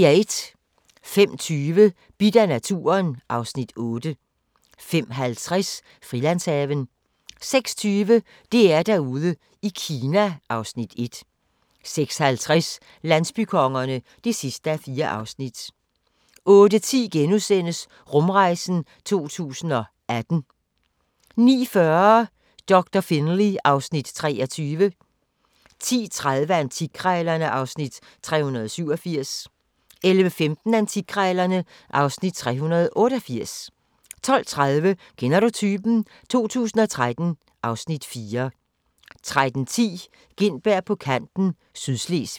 05:20: Bidt af naturen (Afs. 8) 05:50: Frilandshaven 06:20: DR-Derude i Kina (Afs. 1) 06:50: Landsbykongerne (4:4) 08:10: Rumrejsen 2018 * 09:40: Doktor Finlay (Afs. 23) 10:30: Antikkrejlerne (Afs. 387) 11:15: Antikkrejlerne (Afs. 388) 12:30: Kender du typen? 2013 (Afs. 4) 13:10: Gintberg på kanten - Sydslesvig